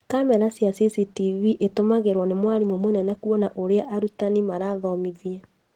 Kamera cia CCTV itumagĩrwo nĩ mwarimũ mũnene kuona ũrĩa arutani marathomithia